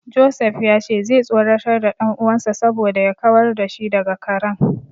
Joseph ya ce zai tsoratar da dan uwansa saboda ya kawar da shi daga karen.